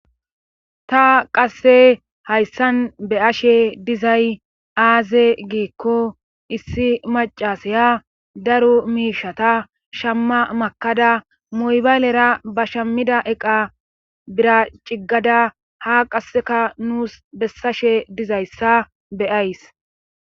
Ta qasse hayssan beyashe dizay aaze giikko issi macasaya daru miishata shamma makada moybaylera ba shammida eqa bira ciggada ha qasseka nuus bessashe dizayssa bea's.